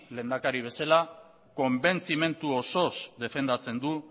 lehendakari bezala konbentzimendu osoz defendatzen du